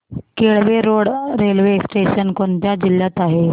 Kelve road railway station कोणत्या जिल्ह्यात आहे